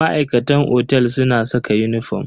Ma'aikatan otel suna saka uniform.